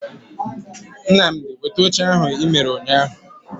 Nnamdi weta oche ahu I mere unyahu